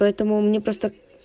поэтому мне просто